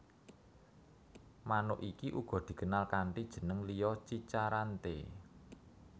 Manuk iki uga dikenal kanti jeneng liya cica rante